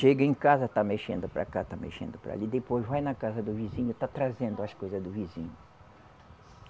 Chega em casa, está mexendo para cá, está mexendo para ali, depois vai na casa do vizinho, está trazendo as coisa do vizinho.